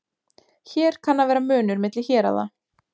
Hér kann að vera munur milli héraða.